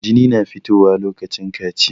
Jini na fito wa lokacin kaciya